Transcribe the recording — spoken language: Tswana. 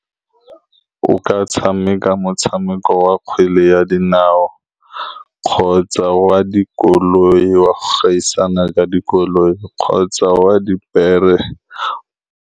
O ka tshameka motshameko wa kgwele ya dinao, kgotsa wa dikoloi, wa gaisana ka dikoloi, kgotsa wa dipere.